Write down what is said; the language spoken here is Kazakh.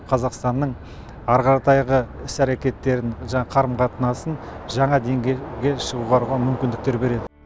қазақстанның ары қаратайғы іс әрекеттерін жаңағы қарым қатынасын жаңа деңгейге шығаруға мүмкіндіктер береді